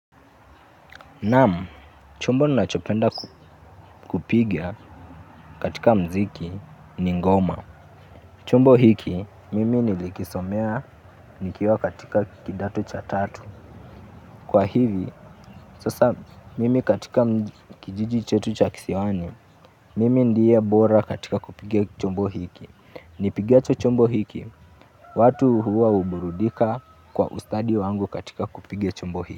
Naam, chumbo ninachopenda kupiga katika mziki ni ngoma. Chombo hiki, mimi nilikisomea nikiwa katika kidato cha tatu. Kwa hivi, sasa mimi katika kijiji chetu cha kisiwani, mimi ndiye bora katika kupiga chombo hiki. Nipigacho chombo hiki, watu huwa huburudika kwa ustadi wangu katika kupiga chombo hiki.